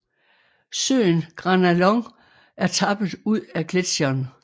Søen Granalón er tappet ud af gletsjeren